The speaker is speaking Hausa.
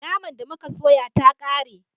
Naman da muka soya ta kare